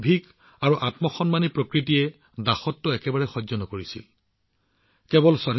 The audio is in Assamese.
তেওঁৰ নিৰ্ভীক আৰু আত্মসন্মানী প্ৰকৃতিয়ে দাসত্বৰ মানসিকতাক একেবাৰে গুৰুত্ব দিয়া নাছিল